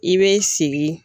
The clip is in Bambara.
I bɛ sigi